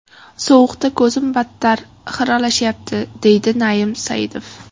Sovuqda ko‘zim battar xiralashyapti”, deydi Naim Saidov.